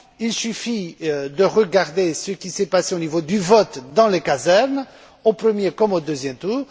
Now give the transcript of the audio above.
Il suffit de regarder ce qui s'est passé au niveau du vote dans les casernes, au premier, comme au deuxième tour.